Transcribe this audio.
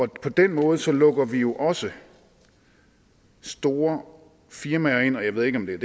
den måde lukker vi jo også store firmaer ind jeg ved ikke om det